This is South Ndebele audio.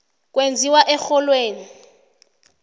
kwenziwani erholweni